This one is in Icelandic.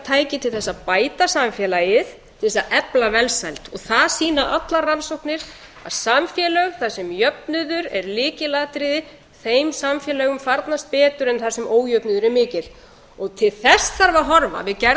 tæki til þess að bæta samfélagið til þess að efla velsæld og það sýna allar rannsóknir að samfélög þar sem jöfnuður er lykilatriði þeim samfélögum farnast betur en þar sem ójöfnuður er mikill og til þess þarf að horfa við gerð